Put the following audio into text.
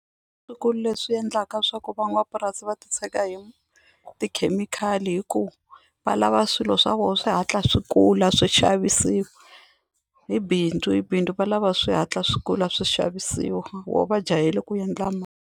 leswi endlaka swa ku van'wamapurasi va titshega hi tikhemikhali hikuva va lava swilo swa vona swi hatla swi kula swi xavisiwa hi bindzu hi bindzu va lava swi hatla swi kula swi xavisiwa voho va jahele ku endla .